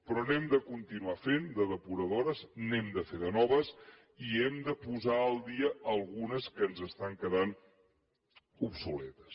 però n’hem de continuar fent de depuradores n’hem de fer de noves i n’hem de posar al dia algunes que ens estan quedant obsoletes